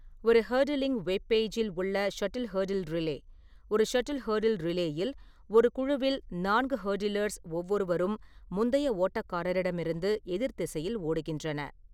ஒரு hurdling web பெய்ஜ்-இல் உள்ள ஷட்டில் ஹெர்டில் ரிலே: ஒரு ஷட்டில் ஹெர்டில் ரிலே-இல், ஒரு குழுவில் நான்கு ஹெர்டிலர்ஸ் ஒவ்வொருவரும் முந்தைய ஓட்டக்காரரிடமிருந்து எதிர் திசையில் ஓடுகின்றன.